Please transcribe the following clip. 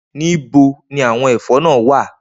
Nibo ni awọn ẹfọ naa wa?